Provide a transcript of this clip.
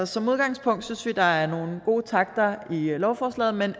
som udgangspunkt synes vi der er nogle gode takter i lovforslaget men